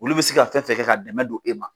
Olu bɛ se ka fɛn fɛn ka dɛmɛ don e ma,